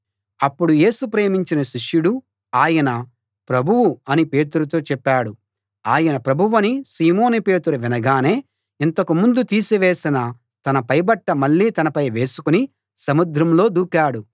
అప్పుడు యేసు ప్రేమించిన శిష్యుడు ఆయన ప్రభువు అని పేతురుతో చెప్పాడు ఆయన ప్రభువని సీమోను పేతురు వినగానే ఇంతకు ముందు తీసివేసిన తన పైబట్ట మళ్ళీ తనపై వేసుకుని సముద్రంలో దూకాడు